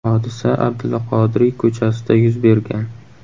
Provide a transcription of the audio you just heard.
Hodisa Abdulla Qodiriy ko‘chasida yuz bergan.